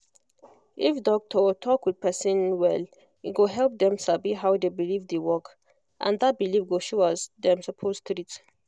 if doctor talk with person well e go help dem sabi how the belief dey work and that belief go showas dem suppose treat